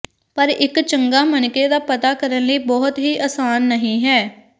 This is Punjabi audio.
ਪਰ ਇੱਕ ਚੰਗਾ ਮਣਕੇ ਦਾ ਪਤਾ ਕਰਨ ਲਈ ਬਹੁਤ ਹੀ ਆਸਾਨ ਨਹੀ ਹੈ